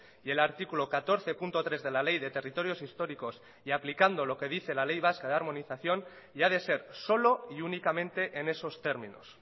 y el artículo catorce punto tres de la ley de territorios históricos y aplicando lo que dice la ley vasca de armonización y ha de ser solo y únicamente en esos términos